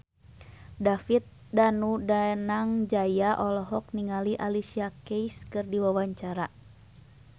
David Danu Danangjaya olohok ningali Alicia Keys keur diwawancara